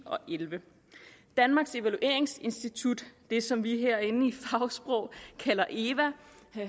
og elleve danmarks evalueringsinstitut det som vi herinde i fagsprog kalder eva